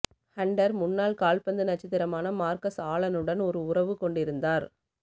Hunter முன்னாள் கால்பந்து நட்சத்திரமான மார்கஸ் ஆலனுடன் ஒரு உறவு கொண்டிருந்தார்